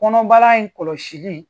Kɔnɔbara in kɔlɔsili